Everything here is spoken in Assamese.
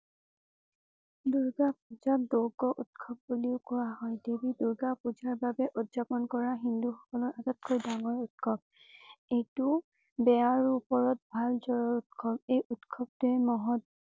দুৰ্গা পূজাক দুৰ্গ উৎসৱ বুলিও কোৱা হয়। দেৱী দুৰ্গা পূজাৰ বাবে উদযাপন কৰা হিন্দু সকলৰ আটাইতকৈ ডাঙৰ উৎসৱ। এইটো বেয়াৰ উপৰত ভাল জয়ৰ উৎসৱ। এই উৎসৱটিৰ মহৎ